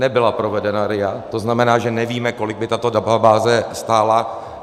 Nebyla provedena RIA, to znamená, že nevíme, kolik by tato databáze stála.